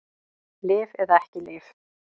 Lyf eða ekki lyf